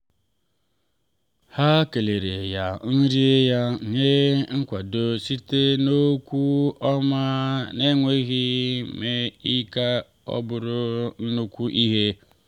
ha keleere ya nri ya nye nkwado site n’okwu ọma n’enweghị ime ka ọ bụrụ nnukwu ihe.